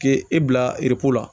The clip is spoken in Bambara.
K'e e bila la